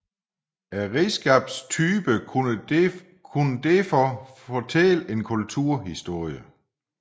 Redskabstyperne kunne derfor fortælle en kulturhistorie